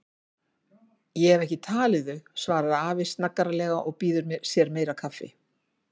Ég hef ekki talið þau, svarar afi snaggaralega og býður sér meira kaffi.